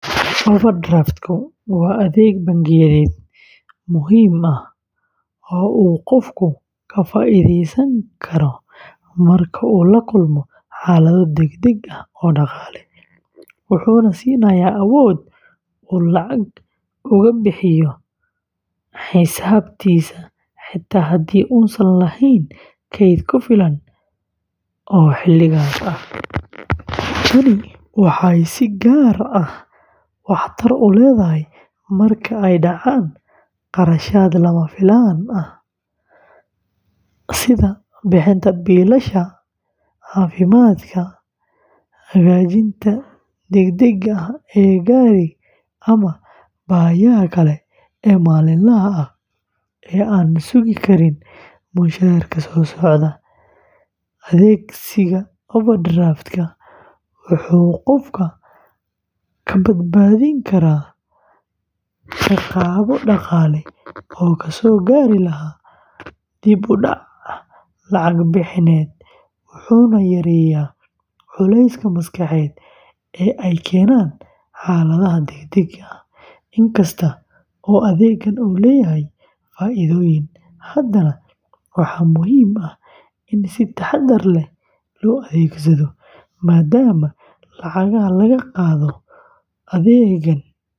Overdraft-ku waa adeeg bangiyeed muhiim ah oo uu qofku ka faa’iideysan karo marka uu la kulmo xaalado degdeg ah oo dhaqaale, wuxuuna siinayaa awood uu lacag uga bixiyo xisaabtiisa xitaa haddii uusan lahayn kayd ku filan oo xilligaas ah. Tani waxay si gaar ah waxtar u leedahay marka ay dhacaan kharashaad lama filaan ah sida bixinta biilasha caafimaadka, hagaajinta degdegga ah ee gaari, ama baahiyaha kale ee maalinlaha ah ee aan sugi karin mushaharka soo socda. Adeegsiga overdraft-ka wuxuu qofka ka badbaadin karaa ciqaabo dhaqaale oo kasoo gaari lahaa dib-u-dhac lacag bixineed, wuxuuna yareeyaa culayska maskaxeed ee ay keenaan xaaladaha degdegga ah. Inkasta oo adeeggan uu leeyahay faa’iidooyin, haddana waxaa muhiim ah in si taxaddar leh loo adeegsado, maadaama lacagaha laga qaado adeeggan.